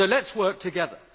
So let us work together.